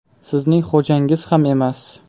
Sizning xo‘jangiz ham emas.